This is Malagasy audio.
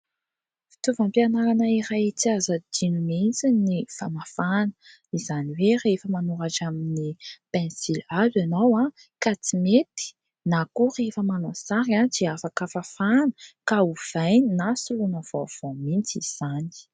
Fitaovam-pianarana iray tsy azo adino mihitsy ny famafana ; izany hoe rehefa manoratra amin'ny pensily hazo ianao ka tsy mety ; na koa rehefa manao sary dia afaka fafana ka ovaina na solona vaovao mihitsy izany.